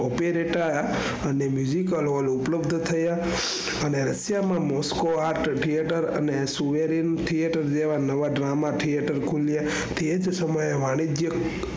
opereta અને al hall ઉપલબ્ધ થયા અને અત્યાર માં mosco art theater અને જેવા નવા drama theater ખૂલ્યા. તે જ સમયે વાણિજ્ય